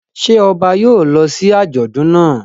Ṣé ọba yóò lọ sí àjọ̀dún náà?